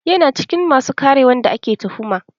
Yana cikin masu ƙare wanda ake tuhuma